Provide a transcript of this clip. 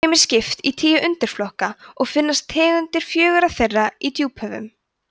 þeim er skipt í tíu undirflokka og finnast tegundir fjögurra þeirra í djúphöfum